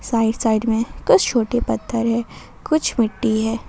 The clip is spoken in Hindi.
साइड साइड में कुछ छोटे पत्थर है कुछ मिट्टी है ।